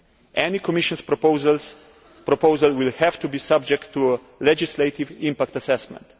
Any Commission proposal will have to be subject to a legislative impact assessment.